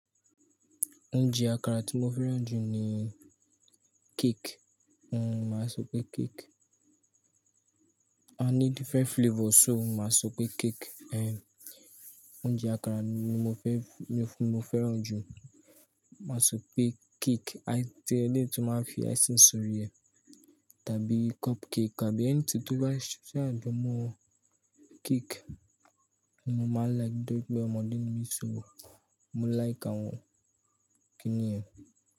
Oúnjẹ àkàrà tí mo fẹ́ràn jù ni cake. N o máa ń sọ pé cake. A ní different flavors, so máa sọ pé cake. Ehn Oúnjẹ àkàrà ni mo fẹ́, mo fẹ́ràn jù. Màá sọ pé cake, ẹni tó máa ń fi icing sórí ẹ tàbí cupcake àbí ẹni tó ba sa, tí a dán mọ́ cake ni mo máa like, bí bẹ́ ọmọdé ni mí sọ wò, mo like àwọn kíní ẹ.